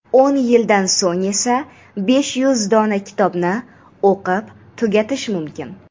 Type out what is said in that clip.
O‘n yildan so‘ng esa besh yuz dona kitobni o‘qib tugatish mumkin!.